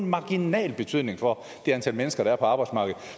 marginal betydning for det antal mennesker der er på arbejdsmarkedet